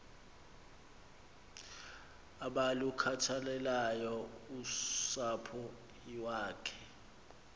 abalukhathaleleyo usapho iwakhe